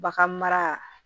Bagan mara